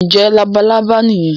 ǹjẹ́ “labalábá" nìyẹn?